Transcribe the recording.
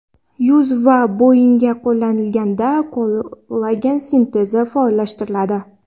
Yuz va bo‘yinga qo‘llanilganda, kollagen sintezini faollashtiradi.